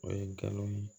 O ye galon ye